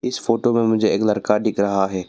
इस फोटो में मुझे एक लड़का दिख रहा है।